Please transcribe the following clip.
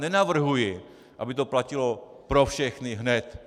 Nenavrhuji, aby to platilo pro všechny hned.